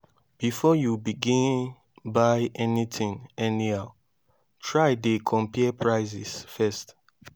bifor yu begin buy anytin anyhow try dey compare prices first